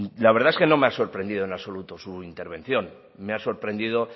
la verdad es que no me ha sorprendido en absoluto su intervención me ha sorprendido